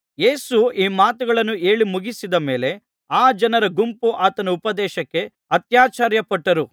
ಯೇಸು ಈ ಮಾತುಗಳನ್ನು ಹೇಳಿ ಮುಗಿಸಿದ ಮೇಲೆ ಆ ಜನರ ಗುಂಪು ಆತನ ಉಪದೇಶಕ್ಕೆ ಅತ್ಯಾಶ್ಚರ್ಯಪಟ್ಟರು